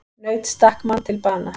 Naut stakk mann til bana